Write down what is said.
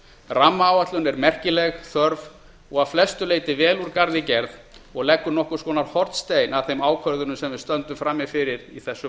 rammaáætlun er merkileg þörf og að flestu leyti vel úr garði gerð og leggur nokkurs konar hornstein að þeim ákvörðunum sem við stöndum frammi fyrir í þessum